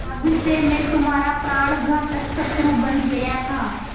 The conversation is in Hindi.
तब से मैं तुम्हारा प्राणघातक शत्रु बन गया था